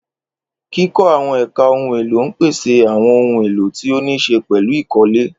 Kíkọ́ àwọn ẹ̀ka ohun èlò ń pèsè àwọn ohun èlò tí ó níí ṣe pẹ̀lú ìkọ́lé.